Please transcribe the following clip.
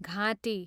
घाँटी